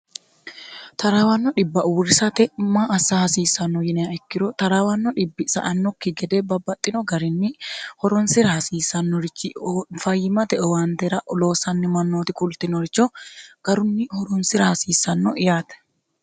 taraawanno dhibba uurrisate maassa hasiissanno yiniha ikkiro taraawanno dhibbi sa'annokki gede babbaxxino garinni horonsira hasiissannorichi fayyimate owaantera loosanni mannooti kultinoricho garunni horonsira hasiissanno yaate